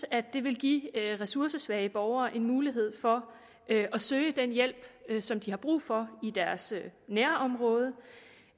at det vil give ressourcesvage borgere en mulighed for at søge den hjælp som de har brug for i deres nærområde